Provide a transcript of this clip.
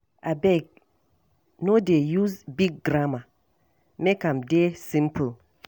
Abeg, no dey use big grammar, make am dey simple.